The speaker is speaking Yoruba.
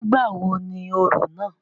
Nígbà wo ni orò náà?